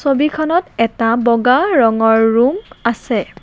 ছবিখনত এটা বগা ৰঙৰ ৰুম আছে।